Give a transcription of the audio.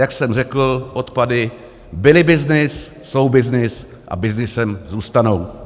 Jak jsem řekl, odpady byly byznys, jsou byznys a byznysem zůstanou.